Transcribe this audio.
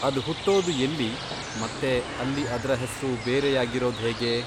ಅದ್ ಹುಟ್ಟೊದು ಎಲ್ಲಿ ಮತ್ತೆ ಅಲ್ಲಿ ಅದ್ರ ಹೆಸ್ರು ಬೇರೆಯಾಗಿರೋದ್ ಹೇಗೆ?